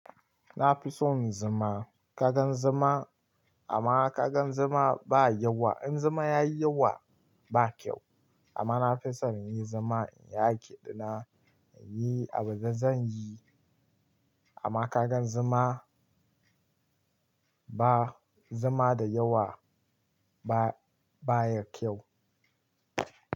Na fi son zuma. Kagan zuma, amma kagan zuma ba yawa. In zuma ya yi yawa, ba kyau. Amma na fi son in yi zama in ya keɗina, in yi abin da zan yi. Amma kagan zama ba zama da yawa ba, ba ya kyau.